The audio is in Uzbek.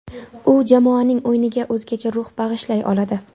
U jamoaning o‘yiniga o‘zgacha ruh bag‘ishlay oladi.